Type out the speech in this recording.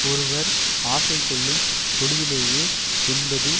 ஒருவர் ஆசை கொள்ளும் பொழுதிலேயே என்பது